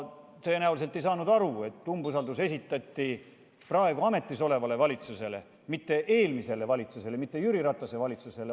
Tõenäoliselt ei saanud ta aru, et umbusalduse avaldamine algatati praegu ametis oleva valitsuse suhtes, mitte eelmise valitsuse, Jüri Ratase valitsuse suhtes.